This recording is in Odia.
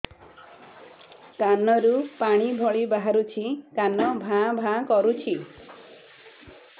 କାନ ରୁ ପାଣି ଭଳି ବାହାରୁଛି କାନ ଭାଁ ଭାଁ କରୁଛି